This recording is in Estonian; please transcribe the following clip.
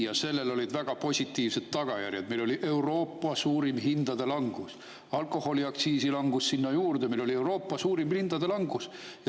Ja sellel olid väga positiivsed tagajärjed: meil oli Euroopa suurim hindade langus, alkoholiaktsiisi langus sinna juurde – meil oli Euroopa suurim hindade langus.